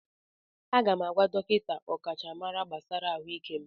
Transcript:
Aga m agwa dọkịta ọkachamara gbasara ahụike m.